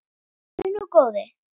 Heyrðu nú, góði!